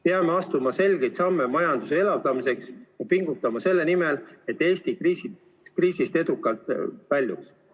Peame astuma selgeid samme majanduse elavdamiseks ja pingutama selle nimel, et Eesti kriisist edukalt väljuks.